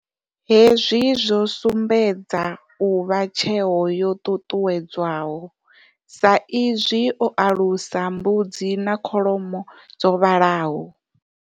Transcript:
Hezwi zwo sumbedza u vha tsheo yo ṱuṱuwedzwaho, sa i zwi o alusa mbudzi na kholomo dzo vhalaho.